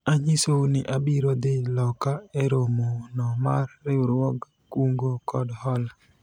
anyisou ni abiro dhi loka e romo no mar riwruog kungo kod hola